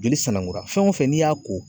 Joli sanakola, fɛn wo fɛn n'i y'a ko